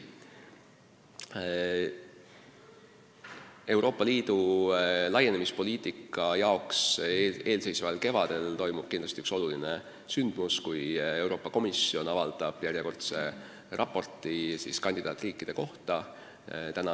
Eelseisval kevadel toimub Euroopa Liidu laienemispoliitika seisukohast oluline sündmus: Euroopa Komisjon avaldab järjekordse raporti kandidaatriikide kohta.